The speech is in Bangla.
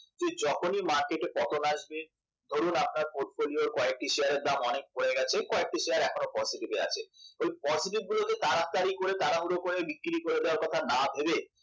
যে যখনই market পতন আসবে ধরুন আপনার portfolio র কয়েকটি শেয়ারের দাম অনেক পড়ে গেছে কয়েকটি শেয়ার এখনো positive এ আছে সেই positive গুলোকে তাড়াতাড়ি করে তাড়াহুড়ো করে বিক্রি করে দেওয়ার কথা না ভেবে